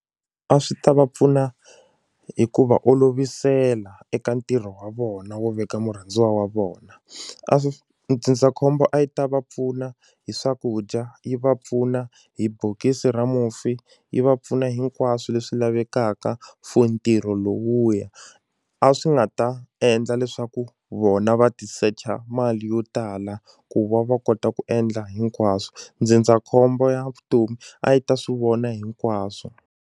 A swi ta va pfuna hi ku va olovisela eka ntirho wa vona wo veka murhandziwa wa vona a swi ndzindzakhombo a yi ta va pfuna hi swakudya yi va pfuna hi bokisi ra mufi yi va pfuna hinkwaswo leswi lavekaka for ntirho lowuya a swi nga ta endla leswaku vona va ti secha mali yo tala ku va va kota ku endla hinkwaswo ndzindzakhombo ya vutomi a yi ta swi vona hinkwaswo.